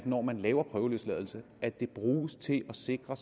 når man bruger prøveløsladelse at det bruges til at sikre